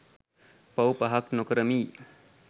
පව් පහක් නොකරමියි